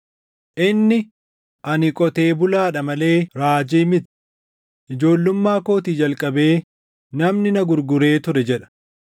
Inni, ‘Ani qotee bulaadha malee raajii miti; ijoollummaa kootii jalqabee namni na gurguree ture’ jedha.